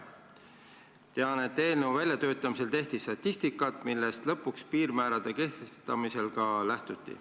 On teada, et eelnõu väljatöötamisel tehti statistikat, millest lõpuks piirmäärade kehtestamisel ka lähtuti.